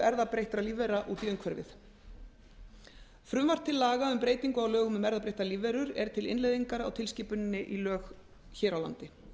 erfðabreyttra lífvera út í umhverfið frumvarp til laga um breytingu á lögum um erfðabreyttar lífverur er til innleiðingar á tilskipuninni í lög hér á landi